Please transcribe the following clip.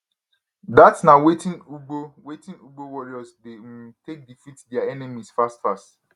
dat na wetin ugbo wetin ugbo warriors dey um take defeat dia enemies fastfast